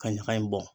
Ka ɲagaɲa in bɔ